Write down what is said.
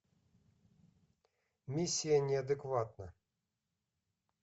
миссия неадекватна